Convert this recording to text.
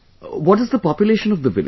What is the population of the village